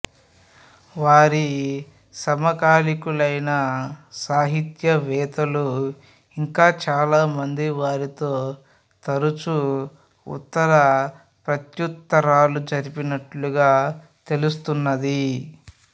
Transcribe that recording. వారి సమకాలీకులైన సాహిత్యవేత్తలు ఇంకా చాలా మంది వారితో తరుచు ఉత్తర ప్రత్తుత్తరాలు జరిపినట్లుగా తెలుస్తున్నది